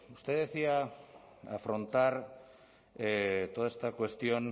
usted decía afrontar toda esta cuestión